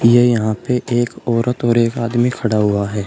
ये यहां पे एक औरत और एक आदमी खड़ा हुआ है।